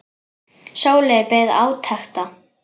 Sóley beið átekta.